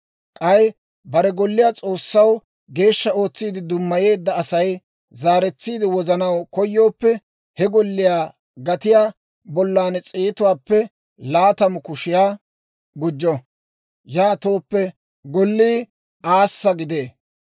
K'ay bare golliyaa S'oossaw geeshsha ootsi dummayeedda Asay zaaretsiide wozanaw koyooppe, he golliyaa gatiyaa bollan s'eetuwaappe laatamu kushiyaa gujjo; yaatooppe gollii aassa gidee.